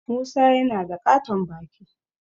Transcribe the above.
Musa yana da ƙaton baki